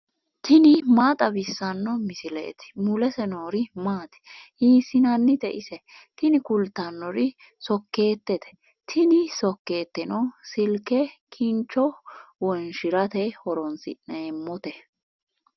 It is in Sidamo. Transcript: tini maa xawissanno misileeti ? mulese noori maati ? hiissinannite ise ? tini kultannori sokkeettete, tini sokkeeteno silke kincho wonshirate horoonsi'neemmote.